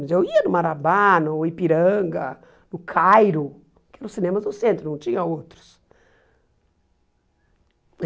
Mas eu ia no Marabá, no Ipiranga, no Cairo, que era os cinemas do centro, não tinha outros.